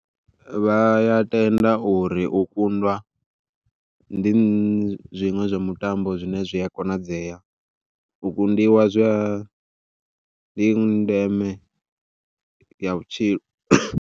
Vha ya tenda uri u kundwa ndi zwiṅwe zwa mutambo zwine zwi a konadzea, u kundiwa zwi a ndi ndeme ya vhutshilo.